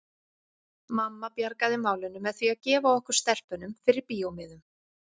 Mamma bjargaði málinu með því að gefa okkur stelpunum fyrir bíómiðum.